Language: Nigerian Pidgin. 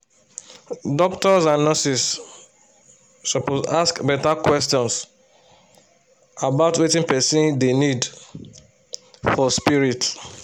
doctors and nurses suppose ask better question about wetin person dey need for spirit